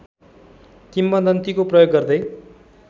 किंवदन्तीको प्रयोग गर्दै